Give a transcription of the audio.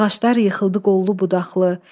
Ağaclar yıxıldı qollu-budaqlı.